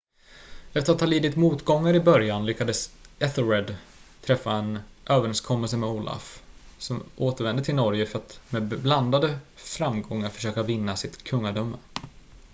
efter att ha lidit motgångar i början lyckades ethelred träffa en överenskommelse med olaf som återvände till norge för att med blandade framgångar försöka vinna sitt kungadöme